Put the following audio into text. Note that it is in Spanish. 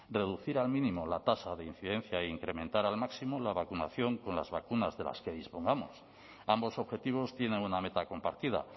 reducir al mínimo la tasa de incidencia e incrementar al máximo la vacunación con las vacunas de las que dispongamos ambos objetivos tienen una meta compartida